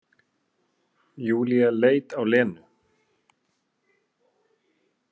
Júlía leit á Lenu.